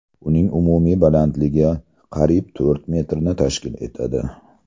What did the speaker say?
Uning umumiy balandligi qariyb to‘rt metrni tashkil etadi”.